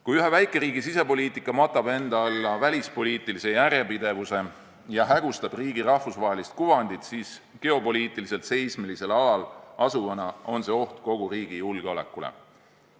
Kui ühe väikeriigi sisepoliitika matab enda alla välispoliitilise järjepidevuse ja hägustab riigi rahvusvahelist kuvandit, siis geopoliitiliselt seismilisel alal asuvana on see oht kogu riigi julgeolekule.